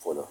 polo